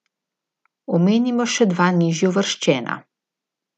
Omenimo še dva nižje uvrščena.